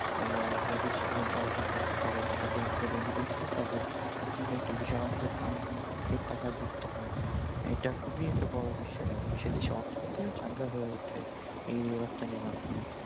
তারমানে অবৈধশিক মুদ্রা অর্জন করতে পারে এবং তাদের অর্থের ও তাদের অর্থের যে একটা টাকা যুক্ত হয় এইটা খুবই একটা বড় বিষয় এবং সে দেশের অর্থনীতি ও চাঙ্গা হয়ে ওঠে এই রপ্তানির মাধ্যমে